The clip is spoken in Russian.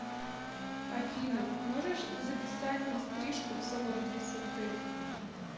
афина можешь записать на стрижку в салон красоты